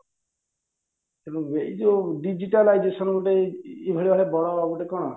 ତେଣୁ ଏଇ ଯୋଉ digitalization ଗୋଟେ ଏଇ ଭଳିଆ ବଡ ଗୋଟେ କଣ